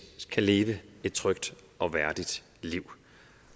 kan leve et trygt og værdigt liv